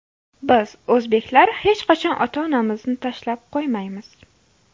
Biz, o‘zbeklar, hech qachon ota-onamizni tashlab qo‘ymaymiz.